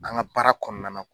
An ka baara kɔnɔna na.